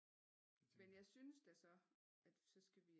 Men jeg synes da så at så skal vi